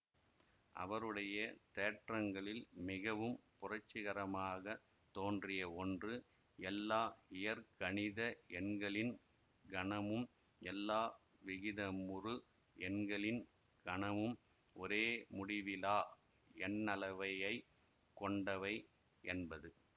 அவருடைய தேற்றங்களில் மிகவும் புரட்சிகரமாகத் தோன்றிய ஒன்று எல்லா இயற்கணித எண்களின் கணமும் எல்லா விகிதமுறு எண்களின் கணமும் ஒரே முடிவிலா எண்ணளவையைக்கொண்டவை என்பது